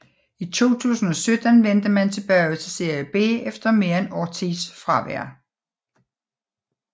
I 2017 vendte man tilbage til Serie B efter mere end årtis fravær